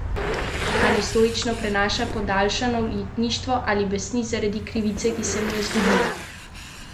Ali stoično prenaša podaljšano ujetništvo ali besni zaradi krivice, ki se mu je zgodila?